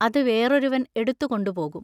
അതു വേറൊരുവൻ എടുത്തു കൊണ്ടുപോകും.